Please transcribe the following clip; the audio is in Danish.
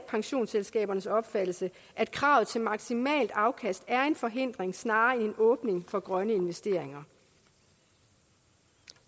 pensionsselskabernes opfattelse at kravet til maksimalt afkast er en forhindring snarere end en åbning for grønne investeringer